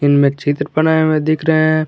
इनमें चित्र बनाए हुए दिख रहे हैं।